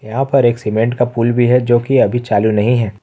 यहां पर एक सीमेंट का पुल भी है जो कि अभी चालू नहीं है।